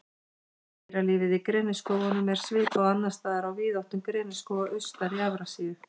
Dýralífið Í greniskógunum er svipað og annars staðar á víðáttum greniskóga austar í Evrasíu.